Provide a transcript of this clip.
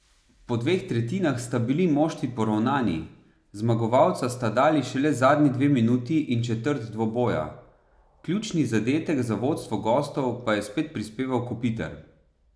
Po dveh tretjinah sta bili moštvi poravnani, zmagovalca sta dali šele zadnji dve minuti in četrt dvoboja, ključni zadetek za vodstvo gostov pa je spet prispeval Kopitar.